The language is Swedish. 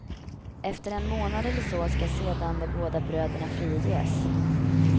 Efter en månad eller så skall sedan de båda bröderna friges.